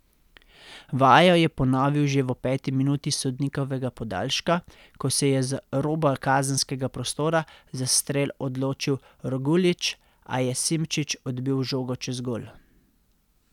Vajo je ponovil že v peti minuti sodnikovega podaljška, ko se je z roba kazenskega prostora za strel odločil Roguljić, a je Simčič odbil žogo čez gol.